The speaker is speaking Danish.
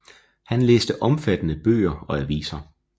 Han læste omfattende bøger og aviser